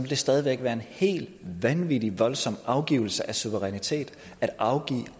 det stadig væk være en helt vanvittig voldsom afgivelse af suverænitet